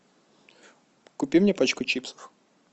купи мне пачку чипсов